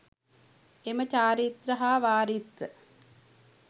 එම චාරිත්‍ර හා වාරිත්‍ර